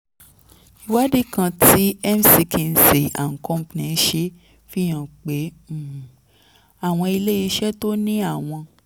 ìwádìí kan tí mckinsey & company ṣe fi hàn pé um àwọn ilé um iṣẹ́ tó ní àwọn